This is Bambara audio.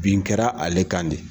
Bin kɛra ale kan de